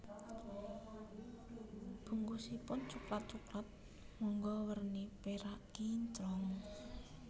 Bungkusipun coklat Coklat Monggo werni perak kinclong